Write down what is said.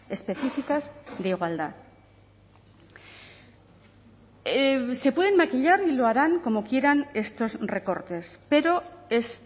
específicas de igualdad se pueden maquillar y lo harán como quieran estos recortes pero es